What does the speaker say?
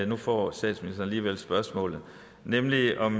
nu får statsministeren alligevel spørgsmålet nemlig om